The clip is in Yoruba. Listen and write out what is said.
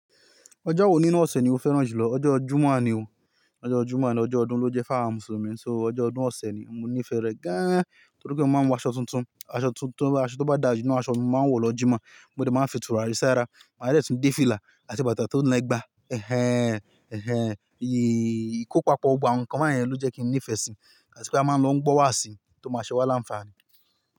Ọjọ́ wo nínú ọ̀sẹ̀ ni o fẹ́ràn jùlọ, ọjọ́ jimáà ni o? Ọjọ́ ọjọ́rú máà ni ọjọ́ ọdún ló jẹ́ fáàmù mùsùlùmí, so ọjọ́ ọdún ọ̀sẹ̀ ni mo nífẹ̀ẹ́ rẹ̀ gan-an nítorí pé mo máa ń wọ aṣọ tuntun. Aṣọ tó bá dà jinná aṣọ mi máa wọ̀ lọ Jummà, mo dẹ̀ máa fi tura sì ara, mo máa dẹ̀ tún dé fìlà àti bàtà tó le gbá. Ẹ̀hẹn! Ẹ̀hẹn! Íì kò papọ̀, ògbà nkán kán yẹn ló jẹ́ kí n nífẹ̀ẹ́ sí i, àti pé a máa ń lọ gbọ́ wàásì tó máa ṣẹwá làǹfààní.